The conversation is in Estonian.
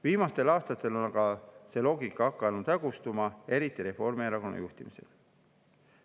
Viimastel aastatel on aga see loogika hakanud hägustuma, eriti Reformierakonna juhtimisel.